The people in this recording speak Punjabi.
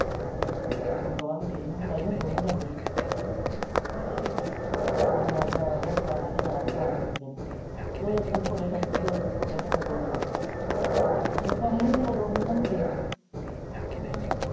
ਹੁਣ ਦੁਬਾਰੇ ਅਡਮੀਸ਼ਨ ਕਰਾਈ ਹੁਣ ਦੋਵੇ ਜਾਂਦੇ ਅੱਛਾ ਕੱਲ ਉਹਨੇ ਜਾਣਾ ਦਕਾਨ ਨਿਕੇ ਨੇ ਦੋਹੇ ਦੋ ਦਿਨ ਸਕੂਲੇ ਤੇ ਦੋ ਦਿਨ ਉਥੇ ਓਰ ਕੰਮ ਵੀ ਦੋ ਦੋ ਨੀ ਨਾ ਹੁੰਦੇ ਹਮ